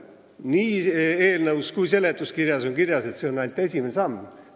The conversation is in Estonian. Nii eelnõus kui ka seletuskirjas on kirjas, et see on ainult esimene samm.